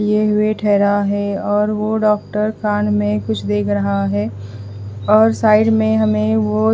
लिए हुए ठहरा है और वो डॉक्टर कान में कुछ देख रहा है और साइड में हमें वो--